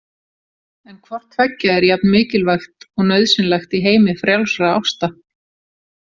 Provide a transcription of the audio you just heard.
En hvorttveggja er jafn mikilvægt og nauðsynlegt í heimi frjálsra ásta.